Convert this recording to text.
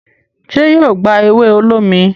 ṣe yíò gbá ewe olómi?